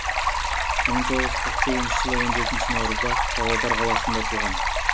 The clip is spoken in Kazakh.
мың тоғыз жүз қырық сегізінші жылы он жетінші наурызда павлодар қаласында туған